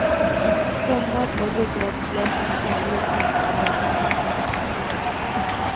Sommar och ryggradslösa kräldjur och nattliga drömmar.